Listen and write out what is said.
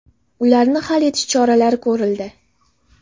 Ularni hal etish choralari ko‘rildi.